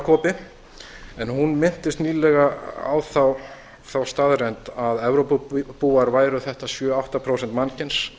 stjórnmálalegur galgopi en hún minntist nýlega á þá staðreynd að evrópubúar væru þetta sjö til átta prósent mannkyns